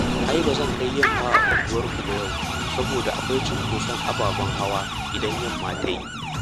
Ai ba zan kai yamma a unguwarku ba yau, saboda akwai cinkoson ababen hawa idan yamma ta yi